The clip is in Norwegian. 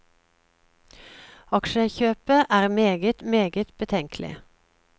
Aksjekjøpet er meget, meget betenkelig.